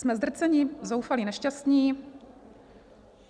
Jsme zdrcení, zoufalí, nešťastní.